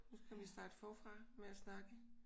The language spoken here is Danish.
Nu skal vi starte forfra med at snakke